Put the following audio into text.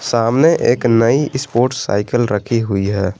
सामने एक नई स्पोर्ट्स साइकिल रखी हुई है।